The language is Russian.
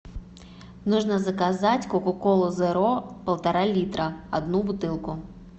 нужно заказать кока колу зеро полтора литра одну бутылку